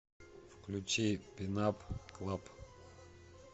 включи пин ап клаб